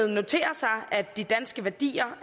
noterer sig at de danske værdier